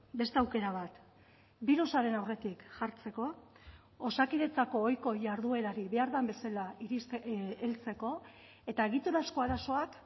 beste aukera bat birusaren aurretik jartzeko osakidetzako ohiko jarduerari behar den bezala heltzeko eta egiturazko arazoak